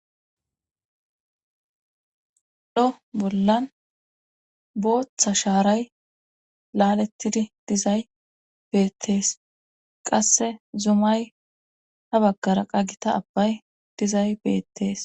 dho bollan booththa shaaray laalettidi dizay beettees qasse zumay ha baggara qagita abbay dizay beettees